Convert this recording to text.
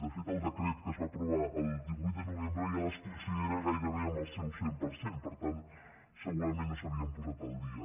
de fet el decret que es va aprovar el divuit de novembre ja les considera gairebé en el seu cent per cent per tant segurament no s’havien posat al dia